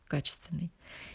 качественный